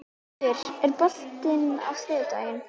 Haddur, er bolti á þriðjudaginn?